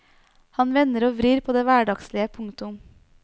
Han vender og vrir på det hverdagslige. punktum